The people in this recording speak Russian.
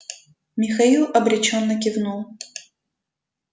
михаил обречённо кивнул